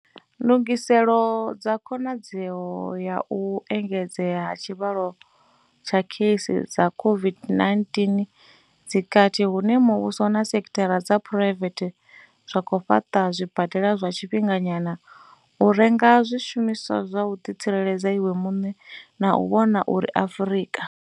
NDUGISELO DZA KHONADZEO ya u engedzea ha tshivhalo tsha kheisi dza COVID-19 dzi kati hune muvhuso na sekithara dza phuraivethe zwa khou fhaṱa zwibadela zwa tshifhinganyana, u renga zwi shumiswa zwa u ḓitsireledza iwe muṋe na u vhona uri Afrika.